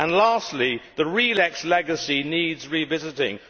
Lastly, the RELEX legacy needs revisiting.